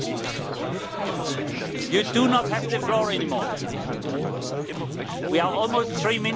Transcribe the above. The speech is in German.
Ich habe diese kurze Debatte zugelassen, weil heute die Konferenz der Präsidenten entfallen ist.